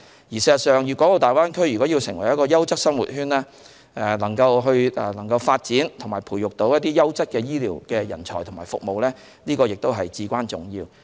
事實上，粵港澳大灣區如要成為優質生活圈，發展和培育優質的醫療人才和服務至關重要。